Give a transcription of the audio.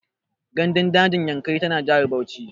Gandun dajin Yankari tana jihar Bauchi.